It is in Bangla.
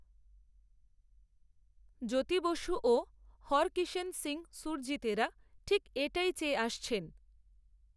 জ্যোতি বসু, ও হরকিষেণ সিংহ সুরজিতেরা, ঠিক এটাই চেয়ে আসছেন